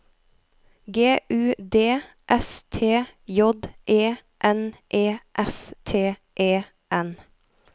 G U D S T J E N E S T E N